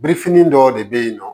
Birifini dɔw de bɛ yen nɔ